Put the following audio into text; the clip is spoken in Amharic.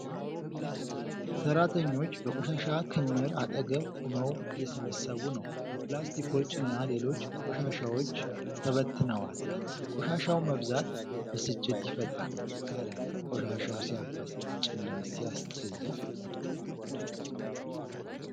ሠራተኞች በቆሻሻ ክምር አጠገብ ቆመው እየሰበሰቡ ነው ። ፕላስቲኮች እና ሌሎች ቆሻሻዎች ተበትነዋል ። የቆሻሻው መብዛት ብስጭት ይፈጥራል። እረ! ቆሻሻው ሲያበሳጭና ሲያጸይፍ!